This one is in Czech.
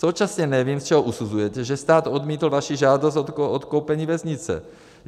Současně nevím, z čeho usuzujete, že stát odmítl vaší žádost o odkoupení věznice.